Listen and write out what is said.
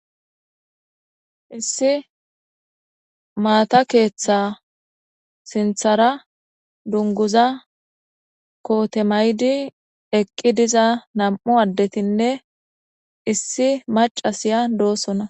issi maata keeththa sinthara dunguza kootemaydi eqqi diza nam7u addetinne issi macasiya doosona